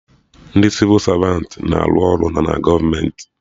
Ndị Sịvụ Savantị na-arụ ọrụ na gọọmenti